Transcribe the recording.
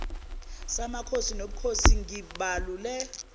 samakhosi nobukhosi ngibalule